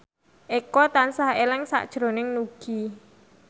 Eko tansah eling sakjroning Nugie